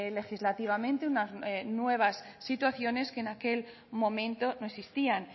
legislativamente unas nuevas situaciones que en aquel momento no existían